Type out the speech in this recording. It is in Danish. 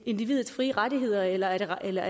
individets frie rettigheder eller eller